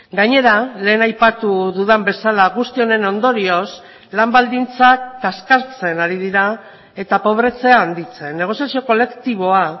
gainera lehen aipatu dudan bezala guzti honen ondorioz lan baldintzak kaskartzen ari dira eta pobretzea handitzen negoziazio kolektiboa